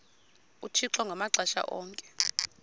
uthixo ngamaxesha onke